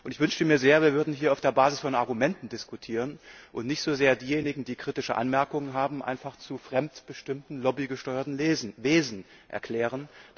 Ich wünschte mir sehr, wir würden hier auf der Basis von Argumenten diskutieren und nicht so sehr diejenigen, die kritische Anmerkungen haben, einfach zu fremdbestimmten, lobbygesteuerten Wesen erklären.